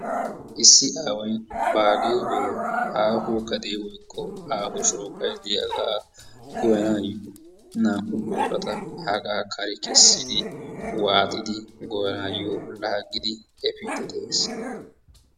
Issi aaway baariyoo aaho sohoy woykko aaho shooqay diyaagaa goyyanayoo naa"u boorata hagaa kare keessidi waaxidi goyanaayo laaggidi efiidi de'ees.